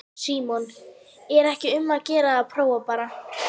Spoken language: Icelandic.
Símon: Er ekki um að gera að prófa bara?